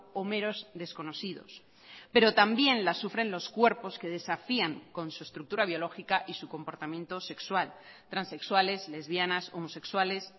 o meros desconocidos pero también la sufren los cuerpos que desafían con su estructura biológica y su comportamiento sexual transexuales lesbianas homosexuales